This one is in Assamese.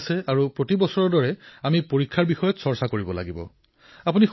পৰীক্ষাৰ সময় সমাগত প্ৰতি বছৰৰ দৰে এইবাৰো আমি পৰীক্ষাৰ ওপৰত চৰ্চা কৰিব লাগিব